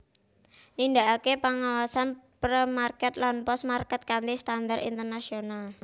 Nindakaken pengawasan Pre Market lan Post Market kanthi standar internasional